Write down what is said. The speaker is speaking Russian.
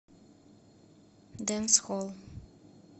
дэнсхолл